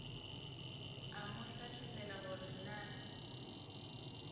a mo hlathollela gore na